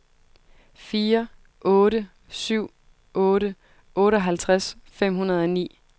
fire otte syv otte otteoghalvtreds fem hundrede og ni